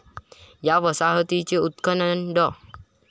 या वसाहतीचे उत्खनन डॉ.